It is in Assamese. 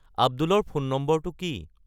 আব্দুলৰ ফোন নম্বৰটো কি